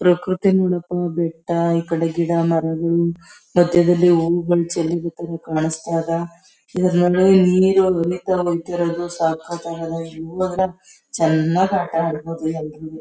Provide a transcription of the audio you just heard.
ಪ್ರಕೃತಿ ನೋಡಕ ಬೆಟ್ಟ ಈಕಡೆ ಗಿಡ ಮರಗಳು ಮದ್ಯದಲ್ಲಿ ಹೂವುಗಳು ಚಲ್ಲಿರೋ ತರ ಕಾಣಸ್ತಾ ಅದ ಇದರನಲ್ಲೇ ನೀರು ಸಕತ್ ಅಗೆದ ಚನ್ನಾಗ್ ಆಟ ಆಡಬಹುದು ಎಲ್ರುವೆ --